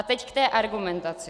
A teď k té argumentaci.